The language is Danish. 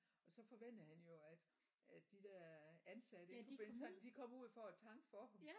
Og så forventede han jo at at de der ansatte du ved sådan de kom ud for at tanke for ham